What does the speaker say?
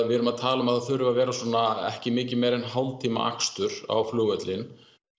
við erum að tala um að það þurfi að vera svona ekki mikið meira en hálftíma akstur á flugvöllinn